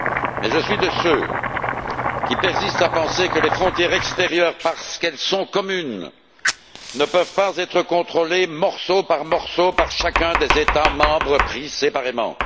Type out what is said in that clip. Mais je suis de ceux qui persistent à penser que les frontières extérieures, parce qu'elles sont communes, ne peuvent pas être contrôlées, morceau par morceau, par chacun des États membres pris séparément.